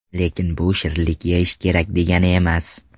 Lekin bu shirinlik yeyish kerak degani emas.